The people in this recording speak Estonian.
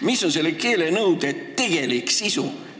Mis on selle keelenõude tegelik sisu?